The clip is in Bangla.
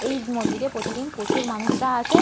এই মন্দিরে প্রতিদিন প্রচুর মানুষরা আসে।